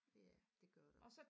Ja det gør der